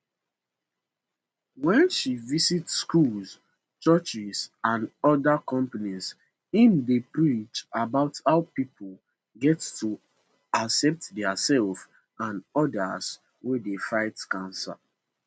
wen she visit schools churches and oda companies im dey preach about how pipo get to accept diaserf and odas wey dey fight cancer